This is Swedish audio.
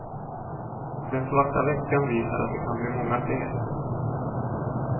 Den svarta veckan visar att det kan bli många fler.